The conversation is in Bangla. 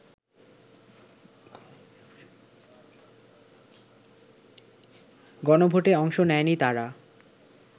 গণভোটে অংশ নেয়নি তারা